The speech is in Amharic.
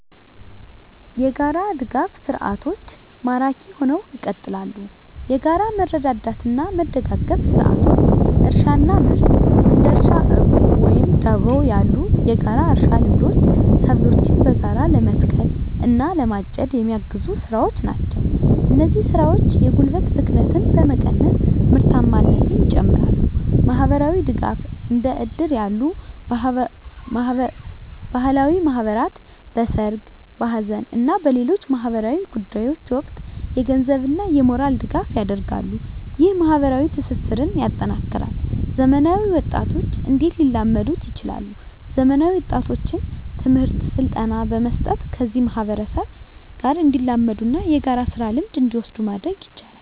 **የጋራ ድጋፍ ሰርዓቶች ማራኪ ሁነው ይቀጥላሉ፤ የጋራ መረዳዳትና መደጋገፍ ስርዓቶች: * እርሻና ምርት: እንደ እርሻ ዕቁብ ወይም ደቦ ያሉ የጋራ እርሻ ልምዶች ሰብሎችን በጋራ ለመትከል እና ለማጨድ የሚያግዙ ስራዎች ናቸው። እነዚህ ስራዎች የጉልበት ብክነትን በመቀነስ ምርታማነትን ይጨምራሉ። * ማህበራዊ ድጋፍ: እንደ እድር ያሉ ባህላዊ ማህበራት በሠርግ፣ በሐዘን እና በሌሎች ማኅበራዊ ጉዳዮች ወቅት የገንዘብና የሞራል ድጋፍ ያደርጋሉ። ይህ ማኅበራዊ ትስስርን ያጠናክራል። *ዘመናዊ ወጣቶች እንዴት ሊላመዱ ይችላሉ፤ ዘመናዊ ወጣቶችን ትምህርትና ስልጠና በመስጠት ከዚህ ማህበረሰብ ጋር እንዲላመዱና የጋራ ስራ ልምድን እንዲወስዱ ማድረግ ይቻላል።